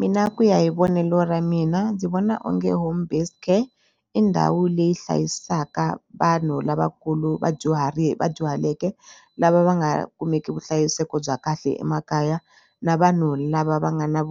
Mina ku ya hi vonelo ra mina ndzi vona onge home based care i ndhawu leyi hlayisaka vanhu lavakulu vadyuhari vadyuhaleke lava va nga kumeki vuhlayiseko bya kahle emakaya na vanhu lava va nga na